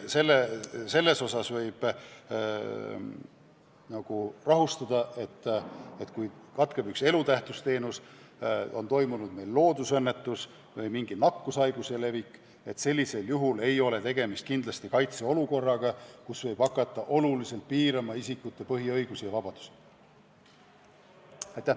Selles osas võin teid rahustada, et kui katkeb üks elutähtis teenus, meil on toimunud loodusõnnetus või mingi nakkushaiguse puhang, siis kindlasti ei ole tegemist kaitseolukorraga, kus võib hakata oluliselt piirama isikute põhiõigusi ja -vabadusi.